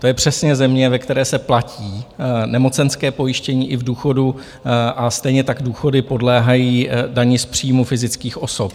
To je přesně země, ve které se platí nemocenské pojištění i v důchodu, a stejně tak důchody podléhají dani z příjmu fyzických osob.